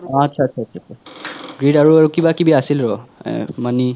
আচ্চা আচ্চা আচ্চা greed আৰু কিবা কিবি আছিল ৰহ এহ money